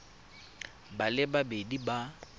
ba le babedi ba ba